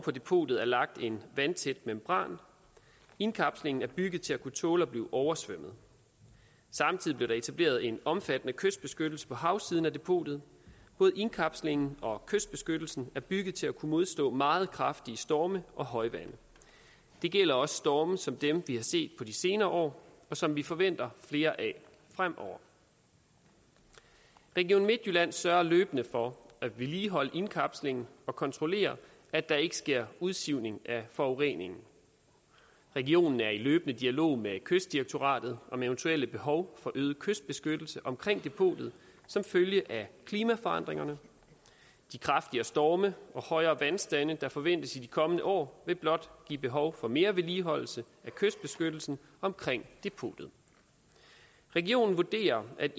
på depotet er lagt en vandtæt membran indkapslingen er bygget til at kunne tåle at blive oversvømmet samtidig blev der etableret en omfattende kystbeskyttelse på havsiden af depotet både indkapslingen og kystbeskyttelsen er bygget til at kunne modstå meget kraftige storme og højvande det gælder også storme som dem vi har set de senere år og som vi forventer flere af fremover region midtjylland sørger løbende for at vedligeholde indkapslingen og kontrollere at der ikke sker en udsivning af forurening regionen er i løbende dialog med kystdirektoratet om eventuelle behov for øget kystbeskyttelse omkring depotet som følge af klimaforandringerne de kraftigere storme og højere vandstande der forventes i de kommende år vil blot give behov for mere vedligeholdelse af kystbeskyttelsen omkring depotet regionen vurderer at